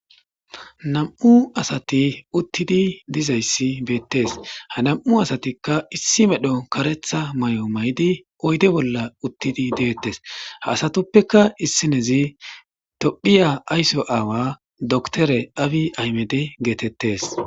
Nam'u asati uttidi dizayssi beettes ha nam'u asatikka issi medho karetha may'o maydi oyde bolla uttidi deettes ha asatuppeka issinezi tophiya aysso aawa doktore awi aymede geetettes